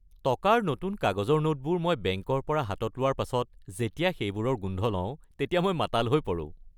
টকাৰ নতুন কাগজৰ নোটবোৰ মই বেংকৰ পৰা হাতত লোৱাৰ পাছত যেতিয়া সেইবোৰৰ গোন্ধ লওঁ তেতিয়া মই মাতাল হৈ পৰোঁ।